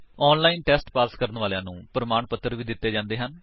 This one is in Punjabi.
ਆਨਲਾਇਨ ਟੇਸਟ ਪਾਸ ਕਰਨ ਵਾਲਿਆਂ ਨੂੰ ਪ੍ਰਮਾਣ ਪੱਤਰ ਵੀ ਦਿੰਦੇ ਹਨ